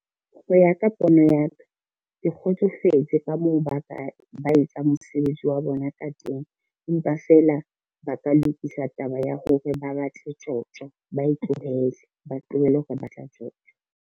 Ho ya ka pono ya ka, ke kgotsofetse ka moo ba etsang mosebetsi wa bona ka teng, empa feela ba ka lokisa taba ya hore ba batle tjotjo, ba e tlohele, ba tlohele ho re batla tjotjo.